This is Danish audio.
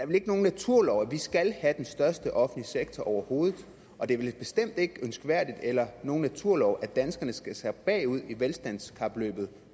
vel ikke nogen naturlov at vi skal have den største offentlige sektor overhovedet og det er vel bestemt ikke ønskværdigt eller nogen naturlov at danskerne skal sakke bagud i velstandskapløbet